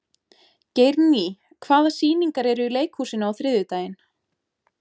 Geirný, hvaða sýningar eru í leikhúsinu á þriðjudaginn?